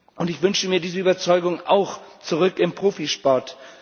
Und ich wünsche mir diese Überzeugung auch zurück im Profisport.